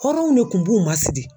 Hɔrɔnw de kun b'u masidi.